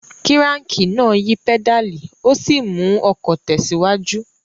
Kíráńkì náà ń yí pẹ́dàlì ó sì ń mú ọkọ̀ tẹ̀síwájú